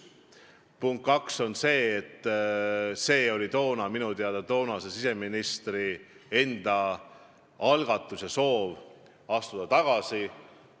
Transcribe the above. Punkt 2 on see, et see oli toona minu teada siseministri enda soov astuda tagasi.